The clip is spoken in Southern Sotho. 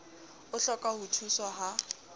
o hloka ho thuswa ha